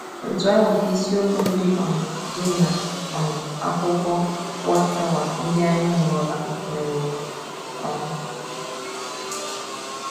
Otú ahụ ka isiokwu ndị um dị n’ um akwukọ WatchTower ndị anyị mụrụla meworo um.